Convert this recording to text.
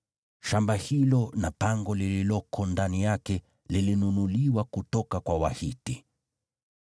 Shamba hilo na pango lililoko ndani yake lilinunuliwa kutoka kwa Wahiti.”